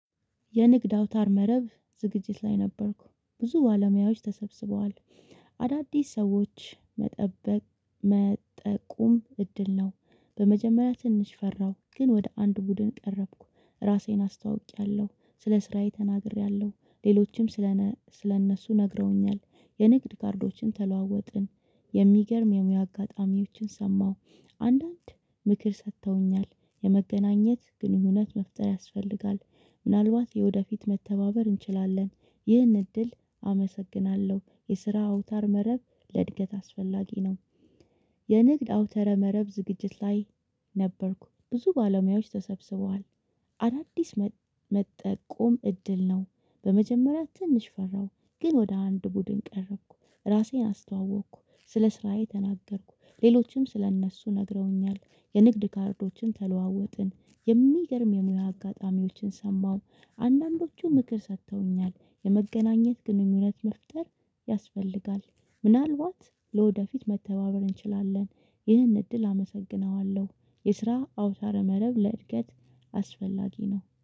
የንግድ አውታር መረብ ዝግጅት ላይ ነበርኩ ብዙ ባለሙያዎች ተሰብስበዋል። አዳዲስ ሰዎች መጠበቅ መጠቆም እድል ነው። በመጀመሪያ ትንሽ ፈራሁ ግን ወደ አንድ ቡድን ቀረብኩ። ራሴን አስታውቂያለሁ ስለ ስራዬ ተናግሬያለሁ ሌሎችም ስለ ስለእነሱ ነግረውኛል። የንግድ ካርዶችን ተለዋወጥን። የሚገርም የሙያ አጋጣሚዎችን ሰማሁ። አንዳንድ ምክር ሰጥተውኛል የመገናኘት ግንኙነት መፍጠር ያስፈልጋል። ምናልባት የወደፊት መተባበር እንችላለን። ይህን እድል አመሰግናለሁ የስራ አውታር መረብ ለእድገት አስፈላጊ ነው። የንግድ አውተረ መረብ ዝግጅት ላይ ነበርኩ ብዙ ባለሙያዎች ተሰብስበዋል። አዳዲስ መጠቆም እድል ነው። በመጀመሪያ ትንሽ ፈራሁ ግን ወደ አንድ ቡድን ቀረብኩ። ራሴን አስተዋወቅኩ ስለ ስራዬ ተናገርኩ ሌሎችም ስለ እነሱ ነግረውኛል። የንግድ ካርዶችን ተለዋወጥን። የሚገርም የሙያ አጋጣሚዎችን ሰማሁ። አንዳንዶቹ ምክር ሰጥተውኛል። የመገናኘት ግንኙነት መፍጠር ያስፈልጋል። ምናልባት ለወደፊት መተባበር እንችላለን። ይህን እድል አመሰግነዋለሁ። የስራ አውታረ መረብ ለእድገት አስፈላጊ ነው